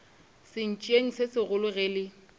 sentšeng se segolo ge le